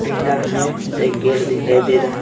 पीला है एक गेट दिखाई दे रहा --